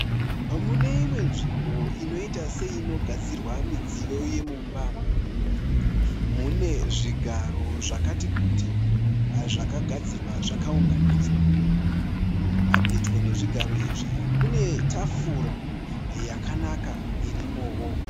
Mune imwe nzvimbo inoita seinogadzirwa midziyo yemumba mune zvigaro zvakati kuti zvakagadzirwa zvakaunganidzwa, pedyo nezvigaro izvi kune tafura yakanaka irimowo.